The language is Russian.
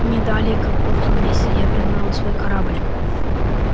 не далее как в прошлом месяце я пригнал свой корабль